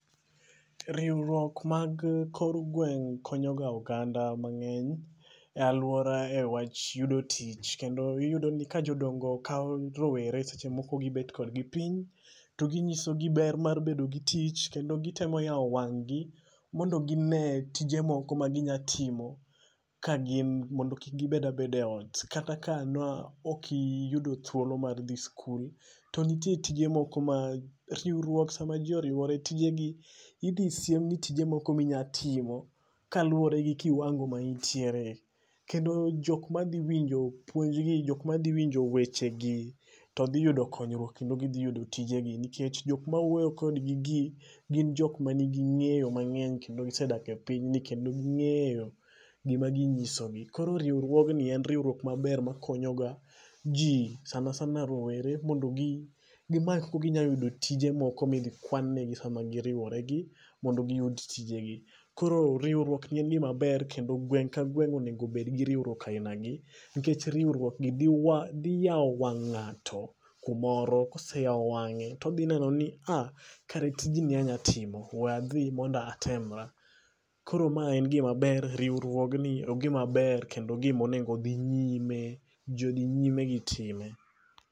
Riwruok mag kor gweng' konyo ga oganda ma nge'ny e aluora e wach yudo tich kendo iyudo ni ka jodongo kawo rowere seche moko gi bet kod gi piny to gi ng'iso gi ber mar bedo gi tich, kendo gi temo yawo wang' gi mondo gi ne tije moko ma gi nya timo, ka gin mondo kik gi bed abeda e ot kata ka in ne ok iyudo thuolo mar dhi skul to nitie tije moko ma ,riwruok ma jo oriwre tije gi idhi siem ni tije ainya timo kaluore gi kiwango ma in tiere. Kendo jok ma dhi winjo puonj gi, jok ma dhi winjo weche gi to dhi yudo konyruok kendo gi dhi yudo tije gi. Nikech jok ma wuoyo kod gi gi gin jok ma ni gi ng'eyo ma mang'eny kendo gi sedak e pinyni kendo gi ng'eyo gik ma gi ng'iso gi. Koro riwruok ni en riwruok ma ber ma konyo ga ji sanasana rowere mondo gi many kaka gi nya yudo tije moko mi idhi kwan ne gi sa ma gi riwore gi mondo gi yud tije gi. Koro riwruok ni en gi ma ber kendo gweng' ka gweng onego bed gi riwruok a gin agi nikech riwruok dhi yao wang' ng'ato ku moro ka oseyawo wange to odhi neno ni a kara tijni anya timo we adhi mondo atemra. Koro ma en gi ma ber e riwruok ni en gi ma ber kendo gi ma onego dhi nyime, ji udhi nyime gi time.